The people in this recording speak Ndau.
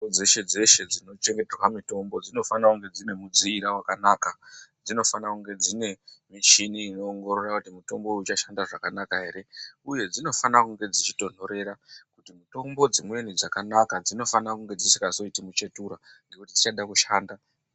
....dzeshe-dzeshe dzinochengeterwa mutombo dzinofana kunge dzine mudziira wakanaka. Dzinofana kunge dzine michini unoongorora kuti mutombo uyu uchashanda zvakanaka ere. Uye dzinofana kunge dzichitonhorera kuti mutombo dzimweni dzakanaka dzinofana kunge dzisingazoiti muchetura ngekuti dzichada kushanda.